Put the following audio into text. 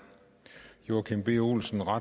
joachim b olsen